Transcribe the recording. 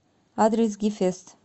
адрес гефест